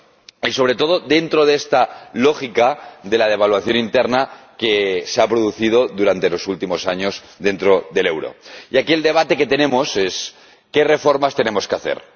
Y, sobre todo, dentro de esta lógica de la devaluación interna que se ha producido durante los últimos años dentro del euro. Nuestro debate es sobre las reformas que tenemos que hacer.